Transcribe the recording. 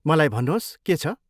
मलाई भन्नुहोस् के छ?